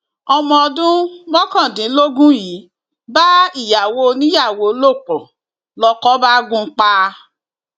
ọmọ ọdún mọkàndínlógún yìí bá ìyàwó oníyàwó lò pọ lóko bá gùn ún pa